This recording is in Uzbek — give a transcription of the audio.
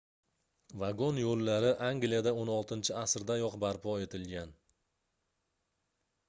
vagon yoʻllari angliyada 16-asrdayoq barpo etilgan